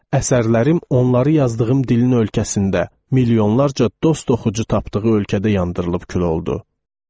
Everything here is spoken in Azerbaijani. Əsərlərim onları yazdığım dilin ölkəsində milyonlarca dost oxucu tapdığı ölkədə yandırılıb kül oldu.